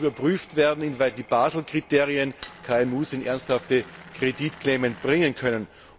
Hier muss überprüft werden, inwieweit die Basel Kriterien KMU in ernsthafte Kreditklemmen bringen können.